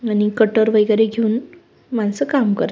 आणि कटर वैगेरे घेऊन माणस काम कर--